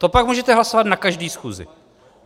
To pak můžete hlasovat na každé schůzi.